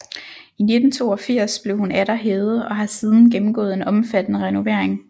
I 1982 blev hun atter hævet og har siden gennemgået en omfattende renovering